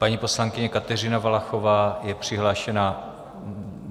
Paní poslankyně Kateřina Valachová je přihlášená.